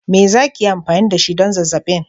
Me za ki yi amfani da shi don zazzabin?